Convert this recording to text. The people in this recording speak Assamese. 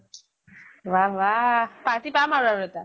ৱাহ ৱাহ। party পাম আৰু আৰু এটা।